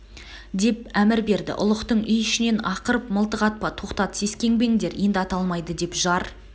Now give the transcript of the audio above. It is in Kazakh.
деп әмір берді ұлықтың үй ішінен ақырып мылтық атпа тоқтат сескенбеңдер енді ата алмайды деп жар